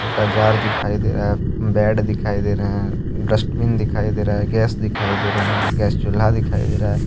छोटा जार दिखाई दे रहा है बेड दिखाई दे रहे हैं डस्टबिन दिखाई दे रहा है गैस दिखाई दे रहे हैं गैस चूल्हा दिखाई दे रहा है।